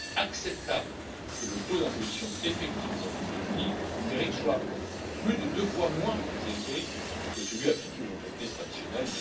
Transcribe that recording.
Il n'est pas acceptable que le taux d'imposition effectif des entreprises numériques soit plus de deux fois moins élevé que celui appliqué aux entreprises traditionnelles.